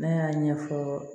Ne y'a ɲɛfɔ